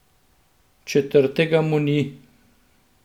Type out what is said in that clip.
Četrtega mu ni.